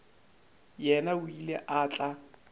yena o ile a tla